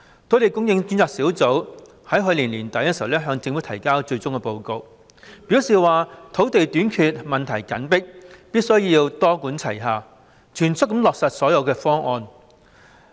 土地供應專責小組於去年年底向政府提交了最終報告，表示土地短缺問題緊迫，必須多管齊下，全速落實所有方案。